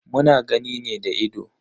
Muna gani ne da ido.